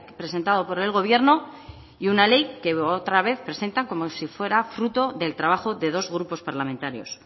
presentado por el gobierno y una ley que otra vez presentan como si fuera fruto del trabajo de dos grupos parlamentarios